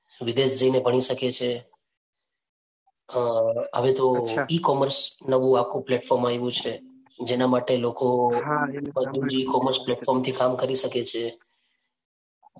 વિદેશ જઈ ને ભણી શકે છે. અ E commerce નવું આખું platform આવ્યું છે જેના માટે લોકો કામ કરી શકે છે.